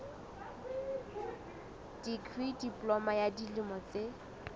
dikri diploma ya dilemo tse